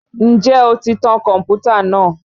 Ǹjẹ́ o ti tan kọ̀mpútà náà?